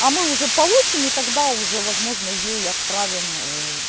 а мы уже получим и тогда уже возможно ей отправим